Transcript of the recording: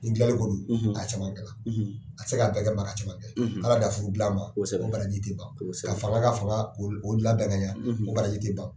Ni dilanli ko do a ye caman k'ala a tɛ se k'a bɛɛ kɛ mais a ka caman kɛ ala dan furu dila ma o baraji tɛ ban ka fanga ka fanga o labɛn ka yɛ o barji tɛ ban